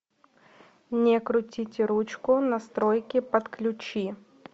не крутите ручку настройки подключи